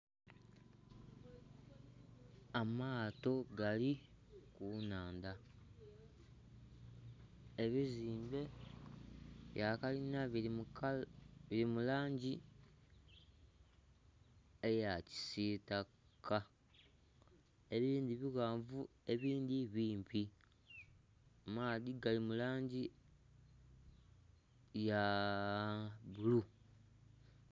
Amaato gali ku nhandha ebizimbe ebya kalinha biri mu langi eya kisitaka ebindhi bighanvu ebindhi bimpi amaadhi gali mu langi ya bbulu.